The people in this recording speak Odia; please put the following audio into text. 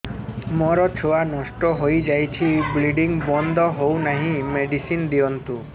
ମୋର ଛୁଆ ନଷ୍ଟ ହୋଇଯାଇଛି ବ୍ଲିଡ଼ିଙ୍ଗ ବନ୍ଦ ହଉନାହିଁ ମେଡିସିନ ଦିଅନ୍ତୁ